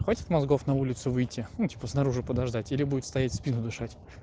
хватит мозгов на улицу выйти ну типо снаружи подождать или будет стоять в спину дышат